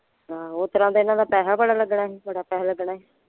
ਆਹੋ ਓਸਤਰਾਂ ਤੇ ਇਹਨਾਂ ਦਾ ਪੈਸਾ ਬੜਾ ਲੱਗਣਾ ਸੀ ਬੜਾ ਪੈਸਾ ਲੱਗਣਾ ਸੀ।